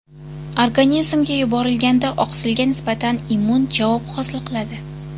Organizmga yuborilganda oqsilga nisbatan immun javob hosil bo‘ladi.